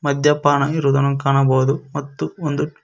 ಮದ್ಯಪಾನ ಇರೋದನ್ನು ಕಾಣಬೋದು ಮತ್ತು ಒಂದು--